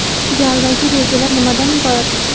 Galdagi rejalar nimadan iborat?